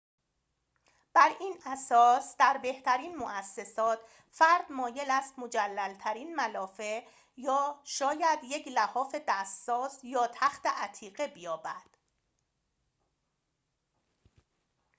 بر این اساس در بهترین موسسات فرد مایل است مجلل‌ترین ملافه شاید یک لحاف دست ساز یا تخت عتیقه بیابد